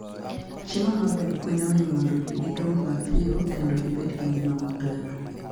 Chiemo maber konyo winy mondo gidong mapiyo kendo gibed gi ngima maber.